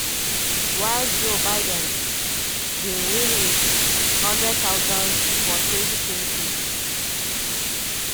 while joe biden bin win wit 100000 for 2020.